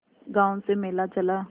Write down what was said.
गांव से मेला चला